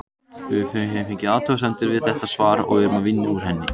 Við höfum fengið athugasemd við þetta svar og erum að vinna úr henni.